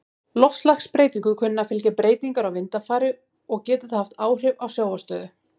Loftslagsbreytingum kunna að fylgja breytingar á vindafari, og getur það haft áhrif á sjávarstöðu.